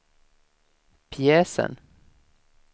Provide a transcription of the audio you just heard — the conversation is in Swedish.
pjäsen